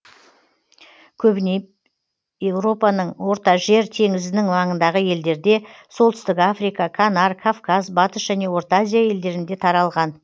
көбіне европаның ортажер теңізінің маңындағы елдерде солтүстік африка канар кавказ батыс және орта азия елдерінде таралған